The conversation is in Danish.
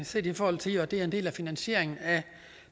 set i forhold til at det er en del af finansieringen af